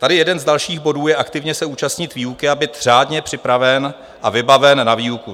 Tady jeden z dalších bodů je "aktivně se účastnit výuky a být řádně připraven a vybaven na výuku".